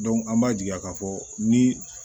an b'a jigiya k'a fɔ ni